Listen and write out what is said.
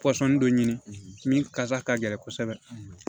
Pɔsɔni dɔ ɲini min kasa ka gɛlɛn kosɛbɛ